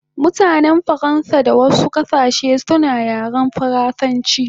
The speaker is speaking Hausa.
Mutanen Faransa da wasu kasashe suna yaren faransanchi